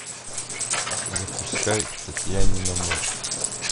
запускай татьянина ночь